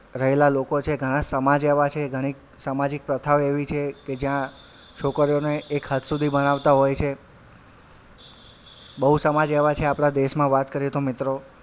રહેલા લોકો છે ઘણાં સમાજ એવાં છે ઘણીક સામાજિક પ્રથા એવી છે કે જ્યાં છોકરીઓને એક હદ સુધી ભણાવતાં હોય છે બવ સમાજ એવાં છે આપડા દેશમાં વાત કરીએ તો મિત્રો,